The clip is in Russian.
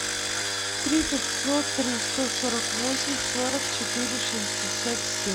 три пятьсот три сто сорок восемь сорок четыре шестьдесят семь